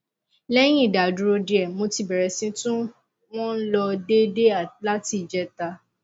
lẹyìn ìdádúró díẹ mo ti bẹrẹ sí i tún wọn lò déédé láti ìjẹta